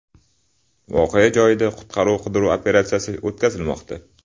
Voqea joyida qutqaruv-qidiruv operatsiyasi o‘tkazilmoqda.